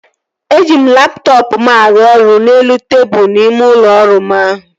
Eji m laptọọpụ m aru ọrụ n'elu tebụl ime ụlọ ọrụ m ahụ